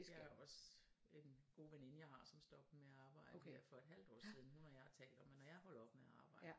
Det har jeg også en god veninde jeg har som stoppede med at arbejde her for et halvt år siden hun og jeg har talt om at når jeg holder op med at arbejde